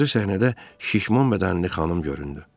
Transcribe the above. Balaca səhnədə şişman bədənli xanım göründü.